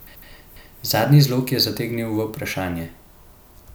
Zadnji zlog je zategnil v vprašanje.